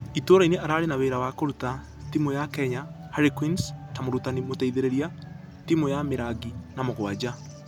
Itũrainĩ ararĩ na wĩra wa kũruta timũ ya kenya harlequins ta mũrutani mũteithereria, timũ ya mĩrangi na mũraranja.